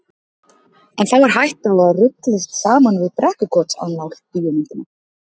En þá er hætta á að ruglist saman við Brekkukotsannál bíómyndina.